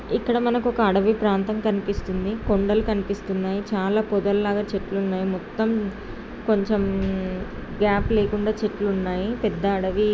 ఇక్కడ మనకు ఒక అడవి ప్రాంతం కనిపిస్తుంది. కొండలు కనిపిస్తున్నాయ్. చాలా పొదల్లాగా చెట్లున్నాయి మొత్తం. కొంచెం గ్యాప్ లేకుండా చెట్లు ఉన్నాయి. పెద్ద అడవి ఈ--